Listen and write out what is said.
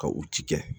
Ka u ci kɛ